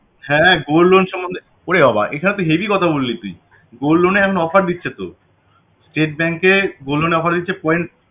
হ্যাঁ gold loan সম্বন্ধে ওরে বাবা এটা তো heavy কথা বললি তুই gold loan এখন offer দিচ্ছে তো